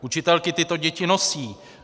Učitelky tyto děti nosí.